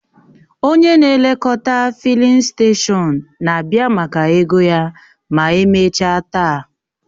Onye na-elekọta fịlịn steshọn na-abịa maka ego ya ma emechaa taa